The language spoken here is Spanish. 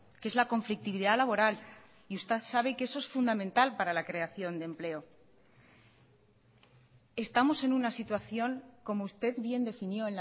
que es la conflictividad laboral y usted sabe que eso es fundamental para la creación de empleo estamos en una situación como usted bien definió